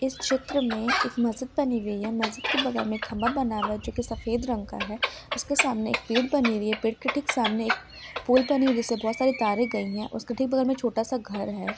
इस चित्र में एक मस्जिद बनी हुई है मस्जिद के बगल मे खंबा बना हुआ है जो सफेद रंग का है उसके सामने एक पेड़ बनी हुई है पेड़ के ठीक सामने एक पोल बनी हुई है जिस पे बहोत सारे तारे गई है उसके ठीक बगल मे छोटा सा घर है।